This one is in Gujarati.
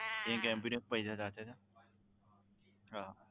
એક MB ના જ પૈસા લાગે છે? હા